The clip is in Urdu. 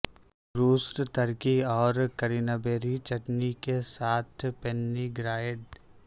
روسٹ ترکی اور کرینبیری چٹنی کے ساتھ پیننی گرائڈ